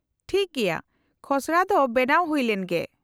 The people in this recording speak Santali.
-ᱴᱷᱤᱠ ᱜᱮᱭᱟ , ᱠᱷᱚᱥᱲᱟ ᱫᱚ ᱵᱮᱱᱟᱣ ᱦᱩᱭ ᱞᱮᱱ ᱜᱮ ᱾